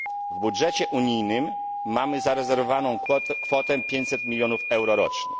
W budżecie unijnym mamy zarezerwowaną kwotę 500 milionów euro rocznie.